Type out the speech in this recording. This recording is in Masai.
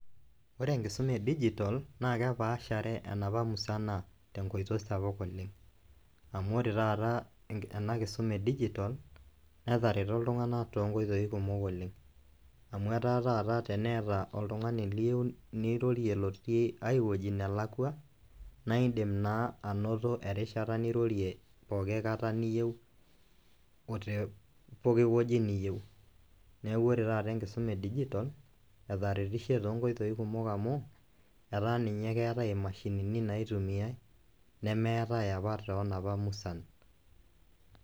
Ore enkisuma e digital naa kepashere enapa musana tenk